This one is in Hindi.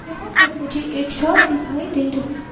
यहाँ पर मुझे एक शॉप दिखाई दे रही है।